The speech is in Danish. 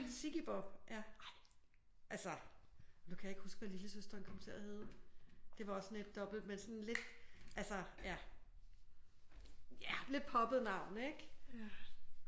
Sigge Bob ja altså nu kan jeg ikke huske hvad lillesøsteren kom til at hedde. Det var også sådan et dobbelt med sådan lidt altså ja lidt poppet navn ik?